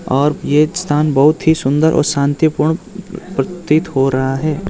और ये स्थान बहोत ही सुंदर और शांतिपूर्ण प्रतीत हो रहा है।